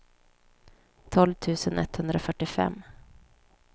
tolv tusen etthundrafyrtiofem